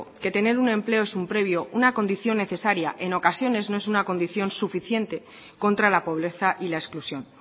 que tener un empleo es un previo una condición necesaria en ocasiones no es una condición suficiente contra la pobreza y la exclusión